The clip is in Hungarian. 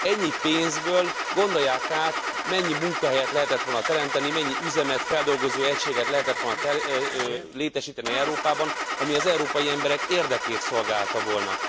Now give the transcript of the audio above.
Ennyi pénzből, gondolják át, mennyi munkahelyet lehetett volna teremteni, mennyi üzemet, feldolgozóegységet lehetett volna létesíteni Európában, ami az európai emberek érdekét szolgálta volna.